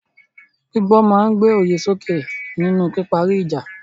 Gbígbọ́ máa ń gbé òye sókè nínú píparí ìjà.